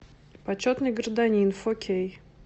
почетный гражданин фо кей